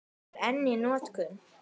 Hún er enn í notkun.